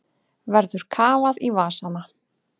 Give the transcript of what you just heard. Verður kafað í vasana